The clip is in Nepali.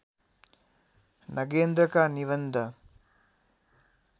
नगेन्द्रका निबन्ध